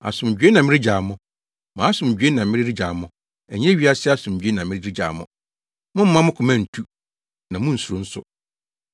Asomdwoe na mede regyaw mo; mʼasomdwoe na mede regyaw mo. Ɛnyɛ wiase asomdwoe na mede regyaw mo. Mommma mo koma ntu; na munnsuro nso.